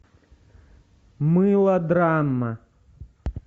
мылодрама